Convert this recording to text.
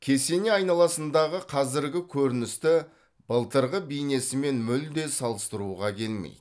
кесене айналасындағы қазіргі көріністі былтырғы бейнесімен мүлде салыстыруға келмейді